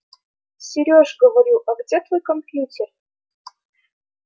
сереж говорю а где твой компьютер